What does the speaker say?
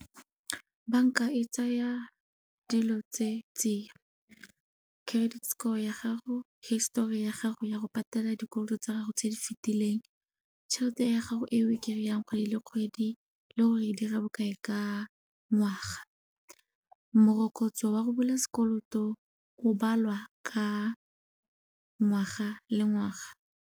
Banka e tsaya dilo tse tsiya, credit score ya gago, histori ya gago ya go patela dikoloto tsa gago tse di fetileng, tšhelete ya gago eo e kry-ang kgwedi le kgwedi le gore e dira bokae ka ngwaga. Morokotso wa go bula sekoloto o balwa ka ngwaga le ngwaga.